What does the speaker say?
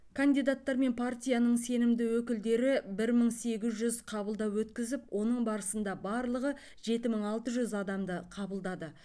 кандидаттар мен партияның сенімді өкілдері бір мың сегіз жүз қабылдау өткізіп оның барысында барлығы жеті мың алты жүз адамды қабылдады